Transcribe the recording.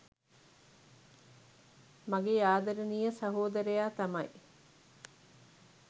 මගේ ආදරණීය සහෝදරයා තමයි.